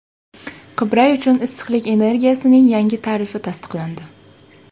Qibray uchun issiqlik energiyasining yangi tarifi tasdiqlandi .